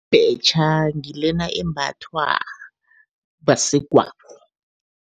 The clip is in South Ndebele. Ibhetjha ngilena embathwa basegwabo.